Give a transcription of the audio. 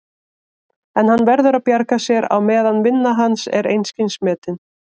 En hann verður að bjarga sér á meðan vinna hans er einskis metin.